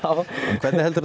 hvernig heldurðu